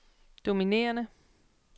dominerende